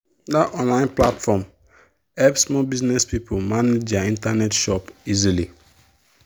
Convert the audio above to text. that online platform help small business people manage their internet shop easily.